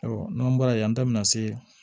Ayiwa n'an bɔra yen an da bɛna se